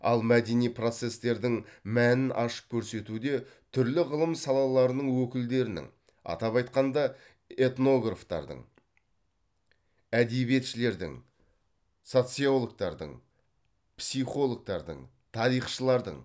ал мәдени процестердің мәнін ашып көрсетуде түрлі ғылым салаларының өкілдерінің атап айтқанда этнографтардың әдебиетшілердің социологтардың психологтардың тарихшылардың